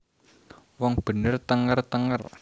Wong bener thenger thenger